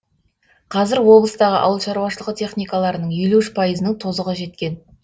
қазір облыстағы ауыл шаруашылығы техникаларының елу үш пайызының тозығы жеткен